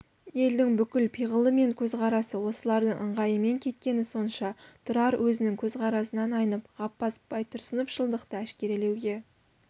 елдің бүкіл пиғылы мен көзқарасы осылардың ыңғайымен кеткені сонша тұрар өзінің көзқарасынан айнып ғаббас байтұрсыновшылдықты әшкерелеуге